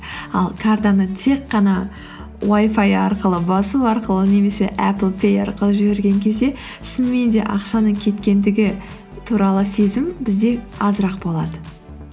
ал картаны тек қана уай фай арқылы басу арқылы немесе аплпэй арқылы жіберген кезде шынымен де ақшаның кеткендігі туралы сезім бізде азырақ болады